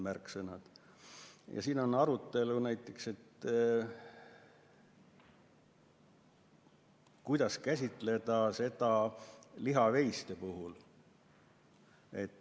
On olnud näiteks jutuks, kuidas käsitada probleemi lihaveiste puhul.